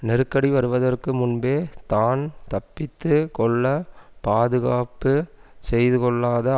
நெருக்கடி வருவதற்கு முன்பே தான் தப்பித்து கொள்ள பாதுகாப்பு செய்துகொள்ளாத